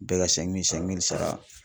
Bɛɛ ka sɛnki mili sɛnki mili sara